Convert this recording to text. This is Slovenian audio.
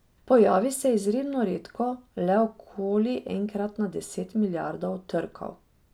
Pojavi se izjemno redko, le okoli enkrat na deset milijard trkov.